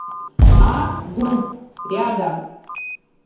а групп рядом